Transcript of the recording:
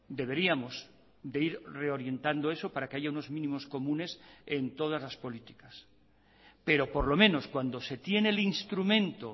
deberíamos de ir reorientando eso para que haya unos mínimos comunes en todas las políticas pero por lo menos cuando se tiene el instrumento